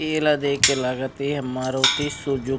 इ ला देख के लागत हे मारुती सुज़ू --